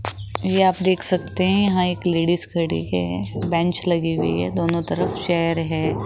ये आप देख सकते हैं यहां एक लेडिस खड़ी है बेंच लगी हुई है दोनों तरफ चेयर है।